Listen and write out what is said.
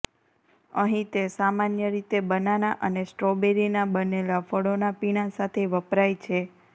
અહીં તે સામાન્ય રીતે બનાના અને સ્ટ્રોબેરીના બનેલા ફળોના પીણા સાથે વપરાય છે